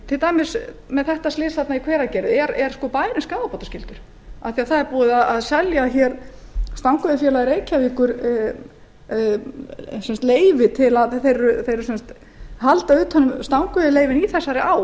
til dæmis með slysið í hveragerði er bærinn skaðabótaskyldur það er búið að selja stangaveiðifélagi reykjavíkur leyfi það félag heldur utan um stangaveiðileyfin í þessari á